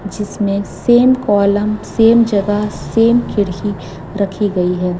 जिसमें same column same जगह same खिड़की रखी गई है।